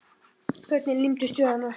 Fötin límdust við hana.